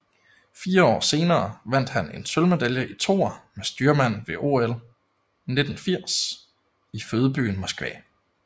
Fire år senere vandt han en sølvmedalje i toer med styrmand ved OL 1980 i fødebyen Moskva